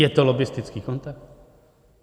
Je to lobbistický kontakt?